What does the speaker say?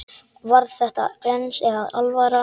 Var þetta glens eða alvara?